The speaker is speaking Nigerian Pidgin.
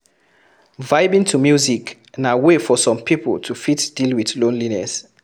Vibing to music na way for some pipo to fit deal with loneliness